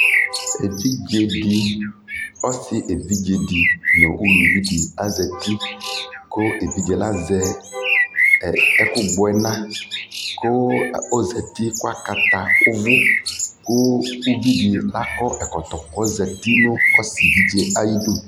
ɛvidzɛ di ɔsii ɛvidzɛ di nʋ ʋlʋvi di azati kʋ ɛvidzɛ azɛ ɛkʋ gbɔ ɛna kʋ ɔzati kʋ akʋ ʋvʋ kʋ, ʋvidi akɔ ɛkɔtɔ kʋ ɔzati nʋ ɔsii ɛvidzɛ ayidʋ